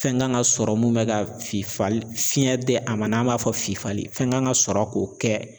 Fɛn kan ka sɔrɔ mun bɛ ka fifali fiɲɛ di a ma n'an b'a fɔ fifali fɛn kan ka sɔrɔ k'o kɛ